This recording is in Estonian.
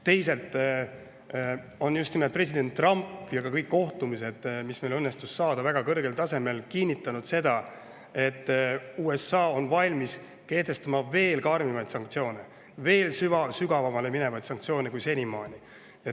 Teisalt on just nimelt president Trump seda kinnitanud ja kõikidel kohtumistel, mis meil õnnestus saada väga kõrgel tasemel, kinnitati seda, et USA on valmis kehtestama veel karmimaid sanktsioone, veel sügavamale minevaid sanktsioone kui senimaani.